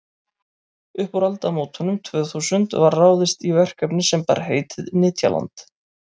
upp úr aldamótunum tvö þúsund var ráðist í verkefni sem bar heitið nytjaland